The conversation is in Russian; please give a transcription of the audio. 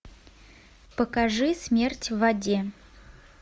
покажи смерть в воде